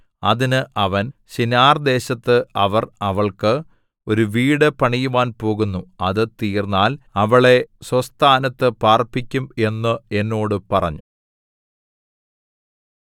അതിന് അവൻ ശിനാർദേശത്ത് അവർ അവൾക്ക് ഒരു വീടു പണിയുവാൻ പോകുന്നു അത് തീർന്നാൽ അവളെ സ്വസ്ഥാനത്തു പാർപ്പിക്കും എന്ന് എന്നോട് പറഞ്ഞു